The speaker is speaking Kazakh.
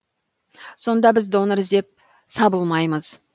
сонда біз донор іздеп сабылмаймыз